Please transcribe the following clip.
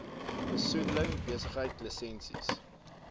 besoedeling besigheids lisensies